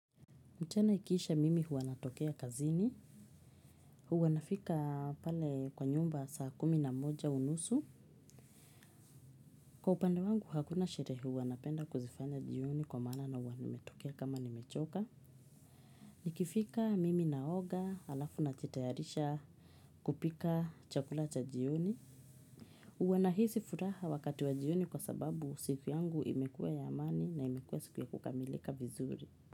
Mtena ikiisha mimi huwa natokea kazini. Huw anafika pale kwa nyumba saa kumi na moja unusu. Kwa upande wangu hakuna sherehe huwa napenda kuzifanya jioni kwa maana na huwa nimetokea kama nimechoka. Nikifika mimi naoga halafu najitayarisha kupika chakula cha jioni. Huwa nahisi furaha wakati wa jioni kwa sababu siku yangu imekua ya amani na imekua siku ya kukamilika vizuri.